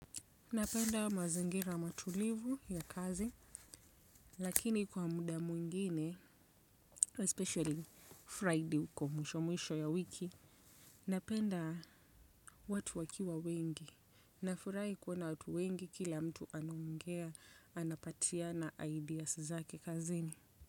Napenda mazingira matulivu ya kazi, lakini kwa muda mwingine, especially Friday uko mwisho mwisho ya wiki, napenda watu wakiwa wengi, na furahi kuona watu wengi kila mtu anaongea, anapatia na ideas zake kazini.